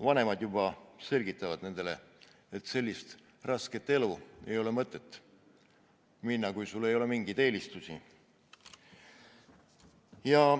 vanemad olijad selgitavad nendele, et sellist rasket elu ei ole mõtet valida, kui sul ei ole mingeid eelistusi.